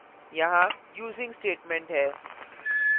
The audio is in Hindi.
यहाँ using statement है